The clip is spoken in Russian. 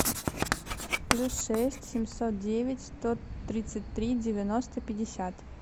плюс шесть семьсот девять сто тридцать три девяносто пятьдесят